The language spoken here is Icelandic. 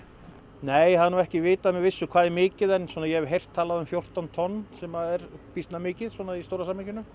nei það er nú ekki vitað með vissu hvað það er mikið en ég hef heyrt talað um fjórtán tonn sem er býsna mikið svona í stóra samhenginu